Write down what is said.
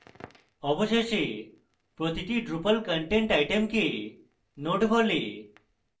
অবশেষে প্রতিটি drupal content item node বলে